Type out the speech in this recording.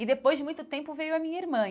E depois, de muito tempo, veio a minha irmã.